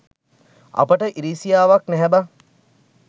අපට ඉරිසියාවක් නැහැ බන්